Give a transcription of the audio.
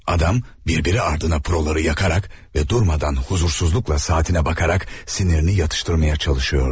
Adam bir-birinin ardınca pro-ları yandıraraq və durmadan narahatlıqla saatına baxaraq əsəbini sakitləşdirməyə çalışırdı.